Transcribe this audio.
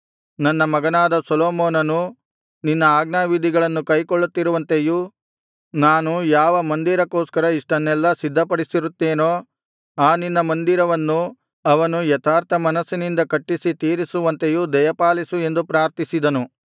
ನನ್ನ ಮಗನಾದ ಸೊಲೊಮೋನನು ನಿನ್ನ ಆಜ್ಞಾವಿಧಿಗಳನ್ನು ಕೈಕೊಳ್ಳುತ್ತಿರುವಂತೆಯೂ ನಾನು ಯಾವ ಮಂದಿರಕ್ಕೋಸ್ಕರ ಇಷ್ಟನ್ನೆಲ್ಲಾ ಸಿದ್ಧಪಡಿಸಿರುತ್ತೇನೋ ಆ ನಿನ್ನ ಮಂದಿರವನ್ನು ಅವನು ಯಥಾರ್ಥಮನಸ್ಸಿನಿಂದ ಕಟ್ಟಿಸಿ ತೀರಿಸುವಂತೆಯೂ ದಯಪಾಲಿಸು ಎಂದು ಪ್ರಾರ್ಥಿಸಿದನು